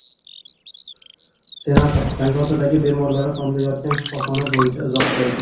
Senator Zangiotadagi bemorlari tomda yotgan shifoxona bo‘yicha izoh berdi.